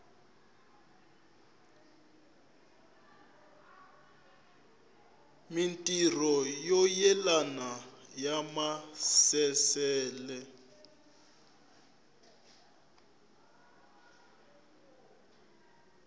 mintirho yo yelana ya maasesele